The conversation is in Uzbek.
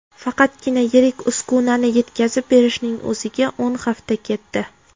Faqatgina yirik uskunani yetkazib berishning o‘ziga o‘n hafta ketdi.